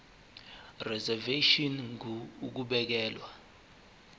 reservation ngur ukubekelwa